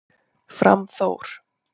Fram Þór